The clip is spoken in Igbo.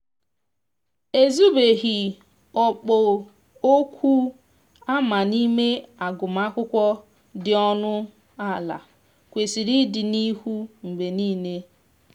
e zubeghi okpu oku amana ime agụma akwụkwo di ọnụ ala kwesiri ịdi n'ihu mgbe nile.